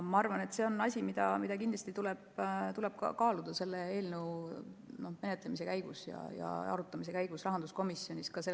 Ma arvan, et see on asi, mida kindlasti tuleb selle eelnõu menetlemise ja arutamise käigus rahanduskomisjonis kaaluda.